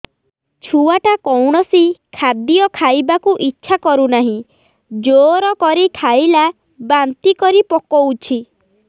ଛୁଆ ଟା କୌଣସି ଖଦୀୟ ଖାଇବାକୁ ଈଛା କରୁନାହିଁ ଜୋର କରି ଖାଇଲା ବାନ୍ତି କରି ପକଉଛି